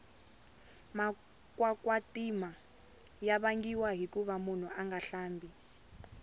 makwakwatima ya vangiwa hikuva munhu anga hlambi